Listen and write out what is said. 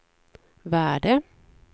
värde